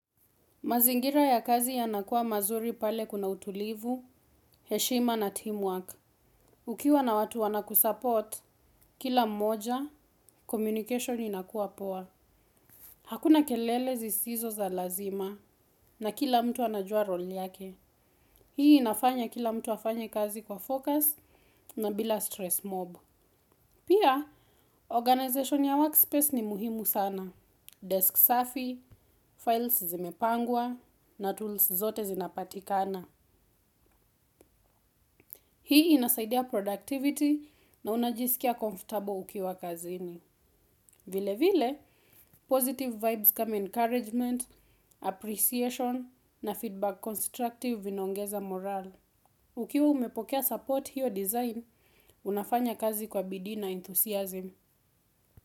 Mazingira ya kazi yanakuwa mazuri pale kuna utulivu, heshima na teamwork. Ukiwa na watu wana kusupport, kila mmoja, communication inakuwa poa. Hakuna kelele zisizo za lazima na kila mtu anajua role yake. Hii inafanya kila mtu afanye kazi kwa focus na bila stress mob. Pia, organization ya workspace ni muhimu sana. Desk safi, files zimepangwa na tools zote zinapatikana. Hii inasaidia productivity na unajisikia comfortable ukiwa kazini. Vile vile, positive vibes kama encouragement, appreciation na feedback constructive vinaongeza morale. Ukiwa umepokea support hiyo design, unafanya kazi kwa bidii na enthusiasm.